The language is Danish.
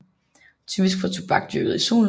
Typisk for tobak dyrket i solen